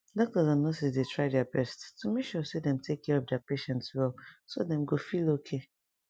doctors and nurses dey try deir best to make sure say dem take care of deir patient wellso dem go feel okay